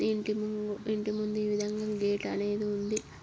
ఇంటి ము ఇంటి ముందు ఈవిందగా గేట్ అనేది ఉంది.